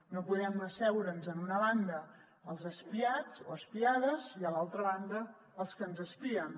no podem asseure’ns en una banda els espiats o espiades i a l’altra banda els que ens espien